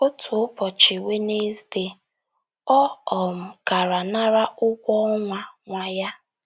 Otu ụbọchị Wenezdee, ọ um gara nara ụgwọ ọnwa ọnwa ya.